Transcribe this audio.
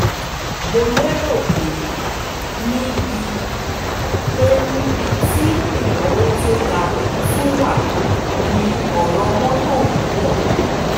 mo lérò pé níbi pé níbi tí ìnáwó tó ga tún wà ní ọ̀rọ̀ mọ́tò wíwọ́